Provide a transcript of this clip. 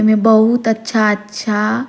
एमें बहुत अच्छा-अच्छा--